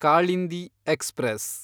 Kalindi express